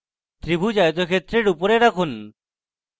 ত্রিভুজ আয়তক্ষেত্রের উপরে রাখুন